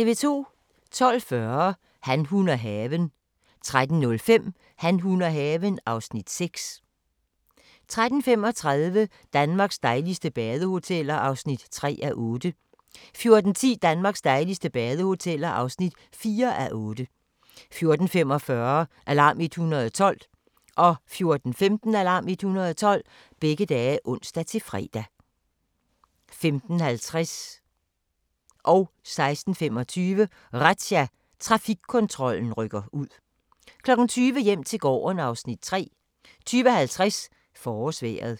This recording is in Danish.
12:40: Han, hun og haven 13:05: Han, hun og haven (Afs. 6) 13:35: Danmarks dejligste badehoteller (3:8) 14:10: Danmarks dejligste badehoteller (4:8) 14:45: Alarm 112 (ons-fre) 15:15: Alarm 112 (ons-fre) 15:50: Razzia – Trafikkontrollen rykker ud (Afs. 4) 16:25: Razzia – Trafikkontrollen rykker ud 20:00: Hjem til gården (Afs. 3) 20:50: Forårsvejret